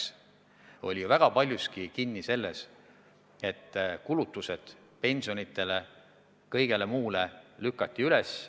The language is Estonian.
See oli väga paljuski kinni selles, et kulutused pensionidele ja kõigele muule aeti kõrgeks.